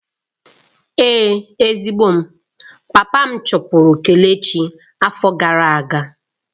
Ee, ezigbo m, papa chụpụrụ kelechi afo gara aga.